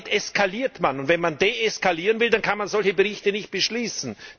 Damit eskaliert man! Wenn man deeskalieren will, dann kann man solche Berichte nicht beschließen.